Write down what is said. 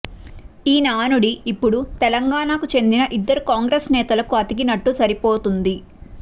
ఈ నానుడి ఇప్పుడు తెలంగాణ కి చెందిన ఇద్దరు కాంగ్రెస్ నేతలకు అతికినట్టు సరిపోతుంది